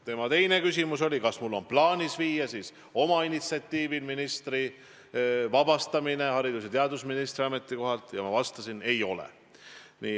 Tema teine küsimus oli, kas mul on omal initsiatiivil plaanis viia Kadriorgu avaldus ministri vabastamiseks haridus- ja teadusministri ametikohalt, ja ma vastasin, et ei ole.